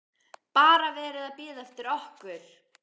BARA VERIÐ AÐ BÍÐA EFTIR OKKUR!